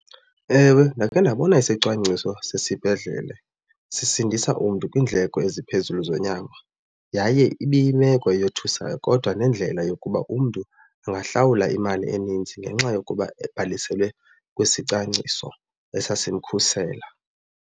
Ewe, ndakhe ndabona isicwangciso sesibhedlele sisindisa umntu kwiindleko eziphezulu zonyango. Yaye ibiyimeko eyothusayo kodwa nendlela yokuba umntu angahlawula imali eninzi ngenxa yokuba ebhaliselwe kwisicwangciso esasimkhusela.